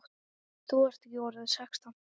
Þú ert ekki orðinn sextán!